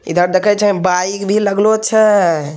इधर देखें छे बाइक भी लगलो छै।